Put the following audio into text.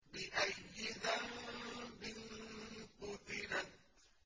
بِأَيِّ ذَنبٍ قُتِلَتْ